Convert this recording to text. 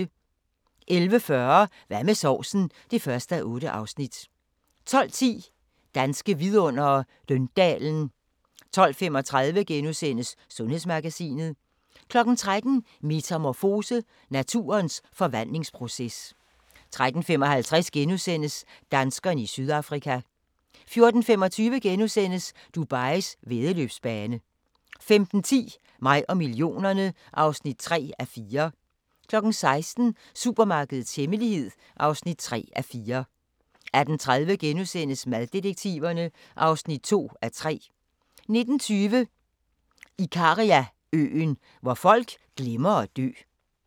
11:40: Hvad med sovsen? (1:8) 12:10: Danske Vidundere: Døndalen 12:35: Sundhedsmagasinet * 13:00: Metamorfose: Naturens forvandlingsproces 13:55: Danskerne i Sydafrika * 14:25: Dubais væddeløbsbane * 15:10: Mig og millionerne (3:4) 16:00: Supermarkedets hemmelighed (3:4) 18:30: Maddetektiverne (2:3)* 19:20: Ikariaøen – hvor folk glemmer at dø